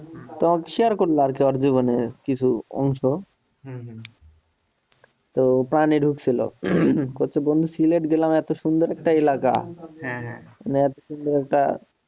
তো share করলাম ওর জীবনের কিছু অংশ হম তো প্রাণীর ও ছিল করতে বন্ধু সিলেট গেলাম এতো সুন্দর একটা এলাগা হ্যাঁ হ্যাঁ মানে একটা।